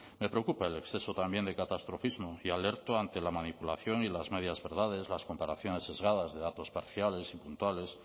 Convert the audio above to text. me preocupa el exceso también de catastrofismo y alerto ante la manipulación y las medias verdades las comparaciones sesgadas de datos parciales y puntuales